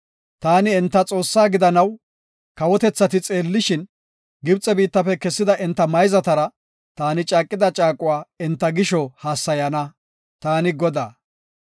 Taani enta Xoossaa gidanaw, kawotethati xeellishin, Gibxe biittafe kessida enta mayzatara taani caaqida caaquwa enta gisho hassayana. Taani Godaa.